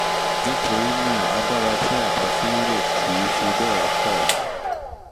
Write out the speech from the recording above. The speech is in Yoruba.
nítorí náà agbára tí àtọ̀ fi ń rìn kì í fi bẹ́ẹ̀ pọ̀